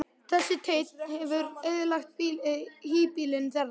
Þessi teinn hefur eyðilagt híbýlin þeirra.